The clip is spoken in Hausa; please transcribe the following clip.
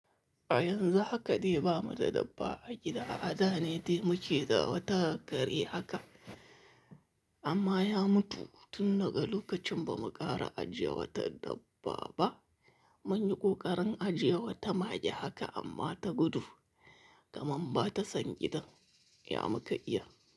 A yanzu haka de ba mu da dabba a gida, a da ne dai mu ke da wata kare haka amma ya mutu tun daga lokacin ba mu ƙara ajiye wata dabba ba. Mun yi ƙoƙarin ajiye wata mage haka amma ta gudu kamnr ba ta san gidan ya muka iya.